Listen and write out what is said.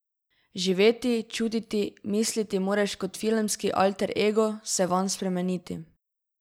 Živeti, čutiti, misliti moraš kot filmski alter ego, se vanj spremeniti.